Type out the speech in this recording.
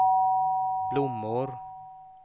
blommor